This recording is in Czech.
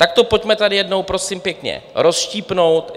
Tak to pojďme tady jednou, prosím pěkně, rozštípnout.